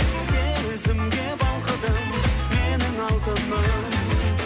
сезімге балқыдым менің алтыным